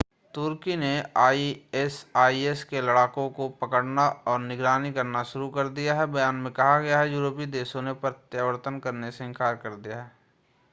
तुर्की ने आईएसआईएस के लड़ाकों को पकड़ना और निगरानी करना शुरू कर दिया है बयान में कहा गया है कि यूरोपीय देशों ने प्रत्यावर्तन करने से इन्कार कर दिया है